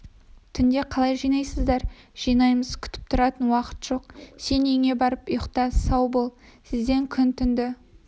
түнде қалай жинайсыздар жинаймыз күтіп тұратын уақыт жоқ сен үйіңе барып ұйықта сау бол сіздер күн-түнді